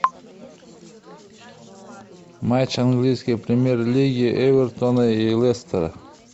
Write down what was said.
матч английской премьер лиги эвертона и лестера